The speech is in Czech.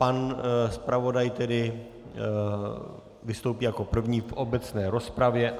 Pan zpravodaj tedy vystoupí jako první v obecné rozpravě.